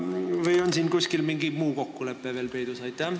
Või on veel mingi muu kokkulepe kuskil peidus?